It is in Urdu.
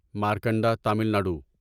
مارکنڈا تمل ناڈو